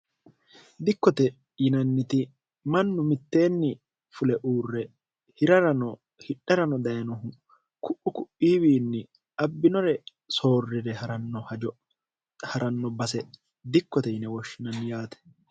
dikkote yinanniti mannu mitteenni fule uurre irrnohidharano dayenohu ku'u ku'iiwiinni abbinore soorrire ha'ranno base dikkote yine wooshshinanni yaate